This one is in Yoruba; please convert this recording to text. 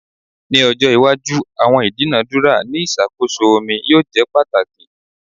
Ni ojo iwaju awọn idunadura ni iṣakoso omi yoo jẹ pataki